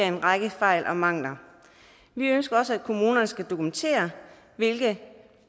en række fejl og mangler vi ønsker også at kommunerne skal dokumentere hvilke